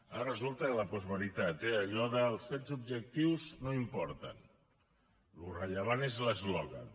ara resulta que la postveritat eh allò de els fets objectius no importen allò rellevant és l’eslògan